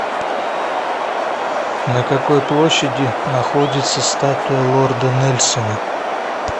на какой площади находится статуя лорда нельсона